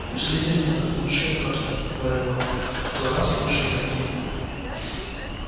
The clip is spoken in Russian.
у слизеринцев лучшие мётлы говорил он зато у нас лучшие игроки